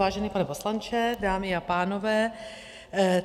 Vážený pane poslanče, dámy a pánové.